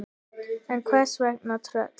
En hvers vegna tröll?